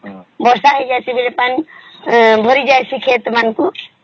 ବର୍ଷା ହେଇଯାଇଛେ ବେଳେ ପାଣି ଭାରି ଜାଇସୀ ଖେତ ମନକୁ